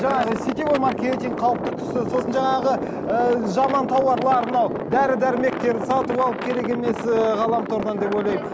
жаңағы сетевой маркетинг қауіпті тұсы сосын жаңағы ііі жаман тауарлар мынау дәрі дәрмектер сатып алып керек емес ііі ғаламтордан деп ойлаймын